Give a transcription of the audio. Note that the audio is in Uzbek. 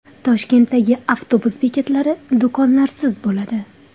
Toshkentdagi avtobus bekatlari do‘konlarsiz bo‘ladi.